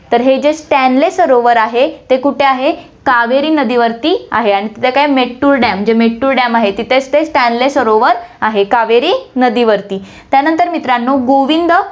तर हे जे स्टेनली सरोवर आहे, ते कुठे आहे कावेरी नदीवरती आहे आणि तिथे काय, मेत्तूर dam, जे मेत्तूर dam आहे, तिथेच ते स्टेनली सरोवर आहे, कावेरी नदीवरती, त्यानंतर मित्रांनो, गोविंद